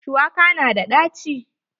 Shuwaka na da ɗaci.